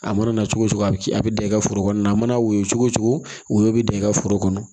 A mana cogo cogo a bɛ kɛ a bɛ da i ka foro kɔnɔna na a mana woyo cogo cogo woyo bɛ da i ka foro kɔnɔ